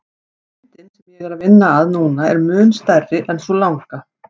Myndin sem ég er að vinna að núna er mun stærri en sú langa.